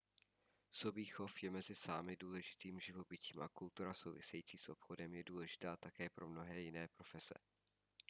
sobí chov je mezi sámy důležitým živobytím a kultura související s obchodem je důležitá také pro mnohé jiné profese